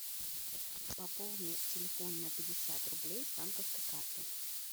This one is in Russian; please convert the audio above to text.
пополни телефон на пятьдесят рублей с банковской карты